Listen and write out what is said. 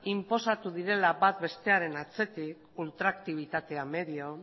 inposatu direla bat bestearen atzetik ultraktibitatea medio